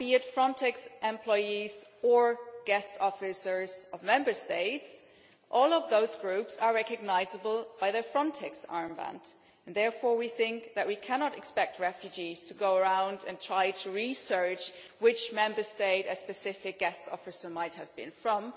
Frontex employees or guest officers of Member States. All these groups are recognisable by their Frontex armband, and therefore we think that we cannot expect refugees to try to research which Member State a specific guest officer might have been from.